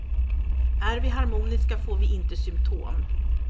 Är vi harmoniska får vi inte symtom.